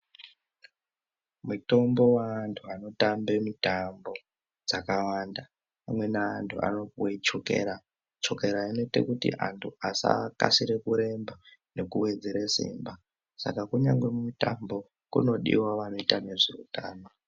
Mutombo waantu anotambe mitambo dzakawanda, amweni anhu anopiwe chokera. Chokera inoite kuti antu asakasire kuremba vekuwedzere simba. Saka kunyangwe kumitambo, kunodiwa vanoita nezveutano.